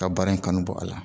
Ka baara in kanu bɔ a la